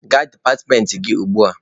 Gaa departmentị gị ugbua!